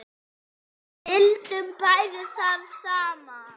Vildum bæði það sama.